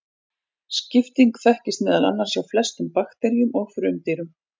Skipting þekkist meðal annars hjá flestum bakteríum og frumdýrum.